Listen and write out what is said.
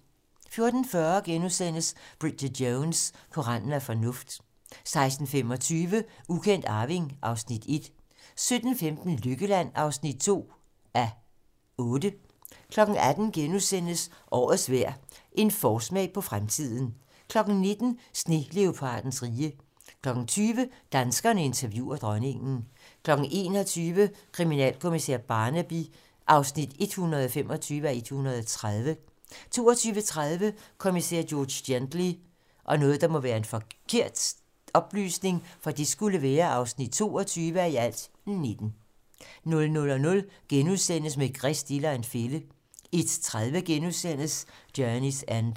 14:40: Bridget Jones - På randen af fornuft * 16:25: Ukendt arving (Afs. 1) 17:15: Lykkeland (2:8) 18:00: Årets vejr - en forsmag på fremtiden * 19:00: Sneleopardens rige 20:00: Danskerne interviewer dronningen 21:00: Kriminalkommissær Barnaby (125:130) 22:30: Kommissær George Gently (22:19) 00:00: Maigret stiller en fælde * 01:30: Journey's End *